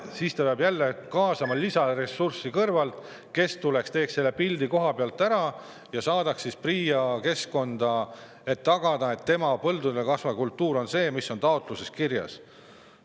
Siis peab jälle kaasama lisaressurssi kõrvalt, kes tuleks, teeks selle pildi koha peal ära ja laadiks üles PRIA keskkonda, et, et põldudel kasvav kultuur on see, mis on taotluses kirjas.